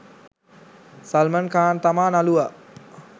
සල්මන් ඛාන් තමා නළුවා.